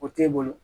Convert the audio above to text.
O t'e bolo